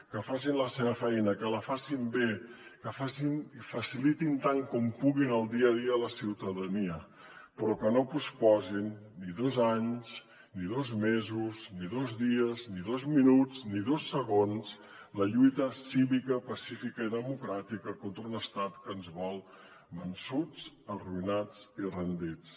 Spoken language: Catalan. que facin la seva feina que la facin bé que facin i facilitin tan com puguin el dia a dia a la ciutadania però que no posposin ni dos anys ni dos mesos ni dos dies ni dos minuts ni dos segons la lluita cívica pacífica i democràtica contra un estat que ens vol vençuts arruïnats i rendits